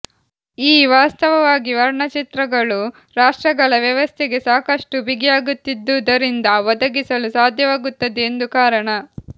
ಈ ವಾಸ್ತವವಾಗಿ ವರ್ಣಚಿತ್ರಗಳು ರಾಫ್ಟ್ರ್ಗಳ ವ್ಯವಸ್ಥೆಗೆ ಸಾಕಷ್ಟು ಬಿಗಿಯಾಗುತ್ತಿದ್ದುದರಿಂದ ಒದಗಿಸಲು ಸಾಧ್ಯವಾಗುತ್ತದೆ ಎಂದು ಕಾರಣ